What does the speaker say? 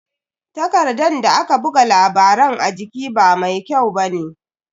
Takardan da aka buga labaran a jiki ba mai kyau bane.